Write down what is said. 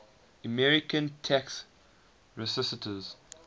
american tax resisters